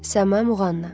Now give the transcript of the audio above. Səma Muğanna.